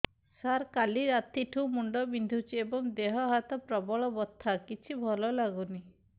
ସାର କାଲି ରାତିଠୁ ମୁଣ୍ଡ ବିନ୍ଧୁଛି ଏବଂ ଦେହ ହାତ ପ୍ରବଳ ବଥା କିଛି ଭଲ ଲାଗୁନି